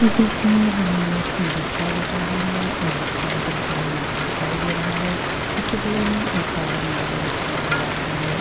इस दृश्य में हम एक ई-रिक्शा देख रहें हैं। ई-रिक्शा बिल्कुल नया दिखाई दे रहा है। इसके बगल मे एक और नया ई-रिक्शा नज़र आ रहा है।